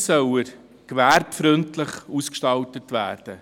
Erstens soll er gewerbefreundlich ausgestaltet werden.